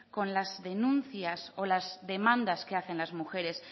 con las denuncias o las demandas que hacen las mujeres